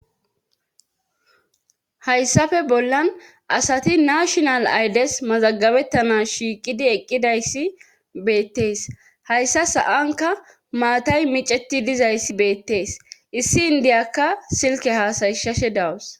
hayssafe bollan asati nashonal aydes mazagabettana shiiqidi eqqidayssi beettees hayssa sa7anka maatay miceti dizayssi beettees issi indiyakka silke haasayshashe dawus